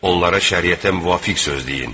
Onlara şəriətə müvafiq söz deyin.